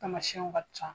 Tamasiɛnw ka ca